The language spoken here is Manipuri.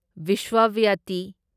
ꯚ꯭ꯔꯤꯁꯥꯚꯋꯇꯤ